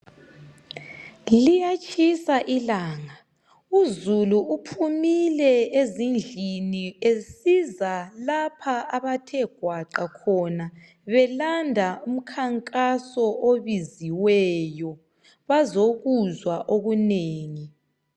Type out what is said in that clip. Liyatshisa ilanga izulu uphumule ezindlini besiza lapho abathe gwaqa khona belanda umkhankaso obiziweyo bazi kuzwa okunengi